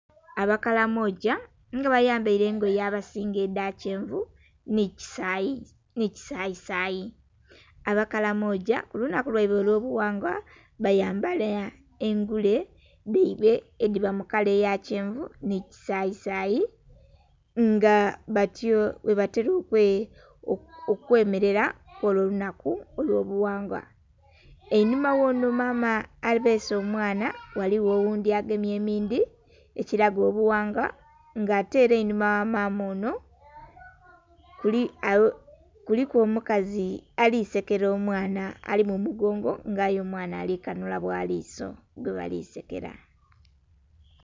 Abakalamoja nga bayambaire engoye abasinga edhakyenvu nikisayi sayi, abakalamoja kulunaku lwaibwe olwobughangwa bayambala engule dhaibwe edhiba mukala eyakyenvu nikisayi sayi nga batyo bwebatera okwemerera kwolwo olunaku olwobughangwa. Einhuma wono maama abeese omwana ghaligho oghundhi agemye emindhi ekiraga obughangwa nga ate erangi einhuma ghamaama ono kuliku omukazi alisekera omwana ali mumugongo nga aye omwana alikanhula bwaliso gwebalisekera.